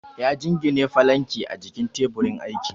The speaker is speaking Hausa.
ya jingine falanki a jikin taburin aiki